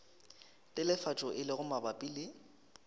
telefatšo e lego mabapi le